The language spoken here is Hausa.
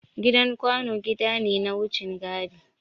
Gidan kwano gida ne na wucin gadi.